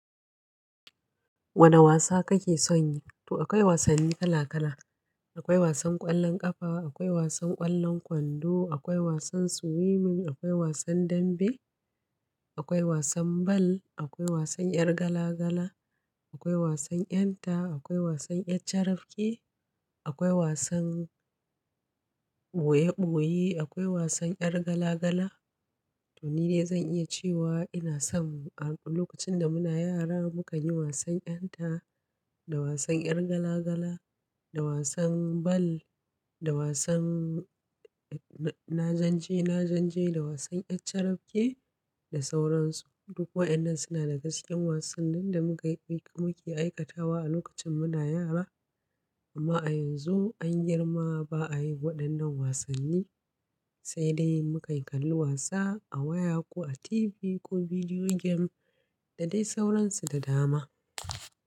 Wane wasa kake son yi? To akwai wasanni kala kala. Akwai wasan ƙwallon ƙafa, akwai wasan ƙwallon kwando, akwai wasan swimming, akwai wasan dambe, akwai wasan ball, akwai wasan yar gala gala, akwai wasan ƴanta, akwai wasan ƴar carabke, akwai wasan ɓoye ɓoyi, akwai wasan yar gala gala. To ni dai zan iya cewa ina son a lokacin da muna yara mukan yi wasan ƴanta da wasan yar gala gala, da wasan ball, da wasan na janje na janje, da wasan ƴar carabke da sauran su. Duk waƴannan suna daga cikin wasannin da muka yi muke aikatawa a lokacin muna yara. Amma a yanzu an girma ba a yi waɗannan wasanni, sai dai muka yi kallon wasa a waya ko a TV ko video game da dai sauransu da dama.